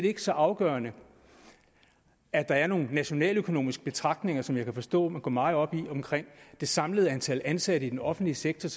ikke så afgørende at der er nogle nationaløkonomiske betragtninger som jeg kan forstå man går meget op i omkring det samlede antal ansatte i den offentlige sektor